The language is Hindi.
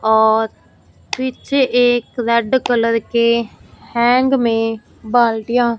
और पीछे एक रेड कलर के हैंग में बाल्टियां--